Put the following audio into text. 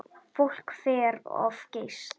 Fólk fer of geyst.